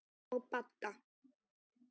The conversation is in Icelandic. Og Badda.